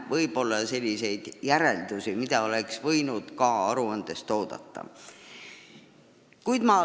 Viimaste põhjal aga oleks võinud esitada rohkem järeldusi.